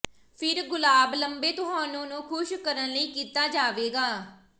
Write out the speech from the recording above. ਫਿਰ ਗੁਲਾਬ ਲੰਬੇ ਤੁਹਾਨੂੰ ਨੂੰ ਖੁਸ਼ ਕਰਨ ਲਈ ਕੀਤਾ ਜਾਵੇਗਾ